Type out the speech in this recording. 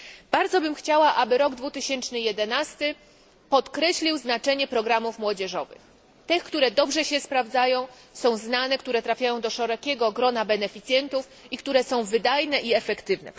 Bardzo chciałabym, aby rok 2011 podkreślił znaczenie programów młodzieżowych, tych, które dobrze się sprawdzają, są znane, trafiają do szerokiego grona beneficjentów i które są wydajne i efektywne.